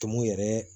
Tumu yɛrɛ